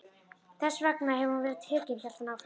Þess vegna hefur hún verið tekin, hélt hann áfram.